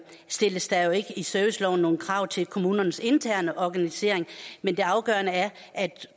stilles der jo ikke i serviceloven nogen krav til kommunernes interne organisering men det afgørende er at